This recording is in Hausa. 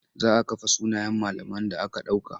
Za a kafe sunayen malaman da aka ɗauka.